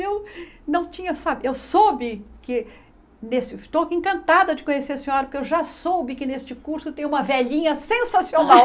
Eu não tinha sa eu soube que... Estou encantada de conhecer a senhora, porque eu já soube que neste curso tem uma velhinha sensacional.